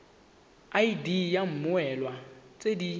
id ya mmoelwa tse di